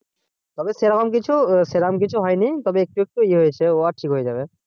তবে সেই রকম কিছু আহ সেই রকম কিছু হয়নি তবে একটু একটু ইয়ে হয়েছে ও ঠিক হয়ে যাবে।